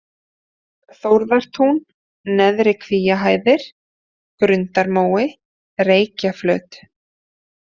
Þórðartún, Neðri-Kvíahæðir, Grundarmói, Reykjaflöt